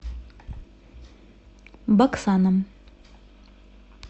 баксаном